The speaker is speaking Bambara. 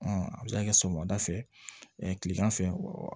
a bɛ se ka kɛ sɔgɔmada fɛ ɛ kilegan fɛ